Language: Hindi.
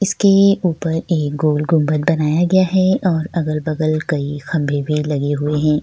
इसके ऊपर एक गोल गुंबद बनाया गया है और अगल-बगल कई खंभे भी लगे हुए हैं।